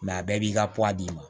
a bɛɛ b'i ka d'i ma